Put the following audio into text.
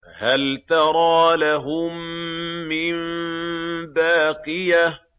فَهَلْ تَرَىٰ لَهُم مِّن بَاقِيَةٍ